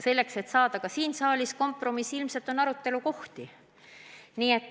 Selleks, et jõuda siin saalis kompromissini, tuleb seda teemat arutada.